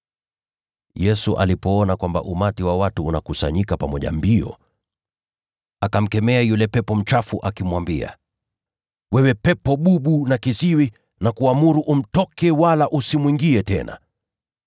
Yesu alipoona kwamba umati wa watu unakusanyika pamoja mbio, akamkemea yule pepo mchafu, akimwambia, “Wewe pepo bubu na kiziwi, nakuamuru umtoke, wala usimwingie tena!”